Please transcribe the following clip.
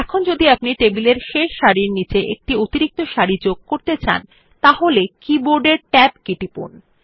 এখন যদি আপনি টেবিলের শেষ সারির নিচে একটি অতিরিক্ত সারি যোগ করতে চান তাহলে কি বোর্ডের ট্যাব কী টিপুন